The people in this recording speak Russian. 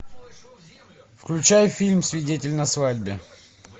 включай фильм свидетель на свадьбе